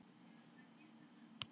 Við höldum okkur við Alþingi.